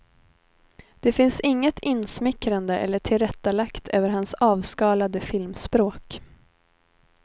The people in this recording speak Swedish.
Det finns inget insmickrande eller tillrättalagt över hans avskalade filmspråk.